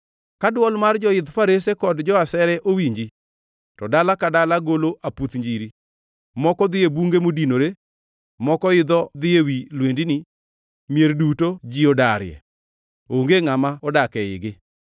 Ka dwol mar joidh farese kod jo-asere owinji, to dala ka dala golo aputh njiri. Moko dhi e bunge modinore; moko idho dhi ewi lwendni. Mier duto ji odarie; onge ngʼama odak eigi.